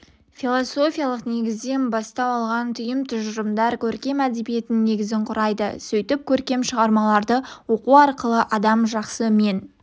философиялық негізден бастау алған түйін тұжырымдар көркем әдебиеттің негізін құрайды сөйтіп көркем шығармаларды оқу арқылы адам жақсы мен